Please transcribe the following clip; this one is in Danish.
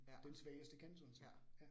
Ja. Ja